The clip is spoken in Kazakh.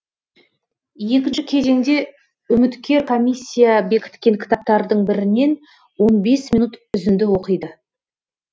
екінші кезеңде үміткер комиссия бекіткен кітаптардың бірінен он бес минут үзінді оқиды